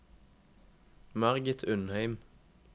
Margit Undheim